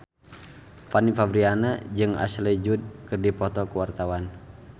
Fanny Fabriana jeung Ashley Judd keur dipoto ku wartawan